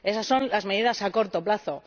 Esas son las medidas a corto plazo.